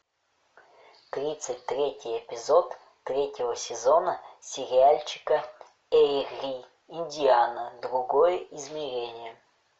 тридцать третий эпизод третьего сезона сериальчика эйри индиана другое измерение